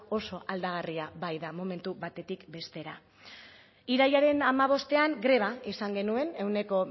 oso aldagarria baita momentu batetik bestera irailaren hamabostean greba izan genuen ehuneko